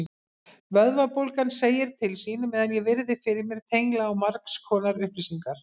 Vöðvabólgan segir til sín meðan ég virði fyrir mér tengla á margskonar upplýsingar.